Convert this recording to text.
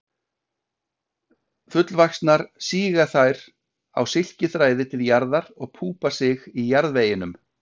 Fullvaxnar síga þær á silkiþræði til jarðar og púpa sig í jarðveginum.